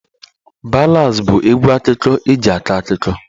Ballads bụ egwu akụkọ eji akọ akụkọ